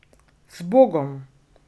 Zbogom!